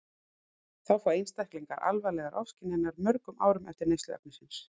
Þá fá einstaklingar alvarlegar ofskynjanir mörgum árum eftir neyslu efnisins.